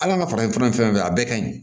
Hal'an ka farafin fura ni fɛn a bɛɛ ka ɲi